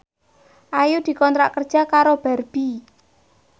Ayu dikontrak kerja karo Barbie